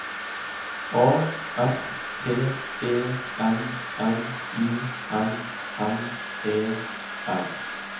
A F T E N N U M M E R